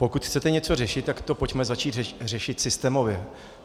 Pokud chcete něco řešit, tak to pojďme začít řešit systémově.